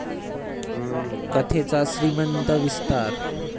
कथेचा 'श्रीमंत' विस्तार!